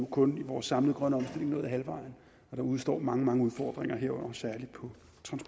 kun i vores samlede grønne omstilling nået halvvejen der udestår mange mange udfordringer herunder særlig